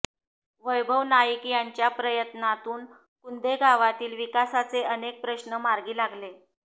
वैभव नाईक यांच्या प्रयत्नांतून कुंदे गावातील विकासाचे अनेक प्रश्न मार्गी लागले